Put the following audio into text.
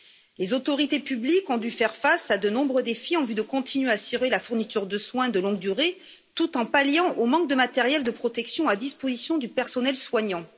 Les autorités publiques ont dû faire face à de nombreux défis en vue de continuer à assurer la fourniture de soins de longue durée, tout en palliant le manque de matériel de protection à disposition du personnel soignant.